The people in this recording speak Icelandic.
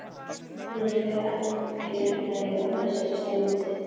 Hún var fjarlæg á þessari stundu.